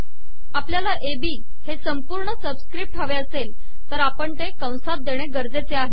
आपलयाला A B संपूणर सबिसकपट हवे असेल तर आपण ते कसात देणे गरजेचे आहे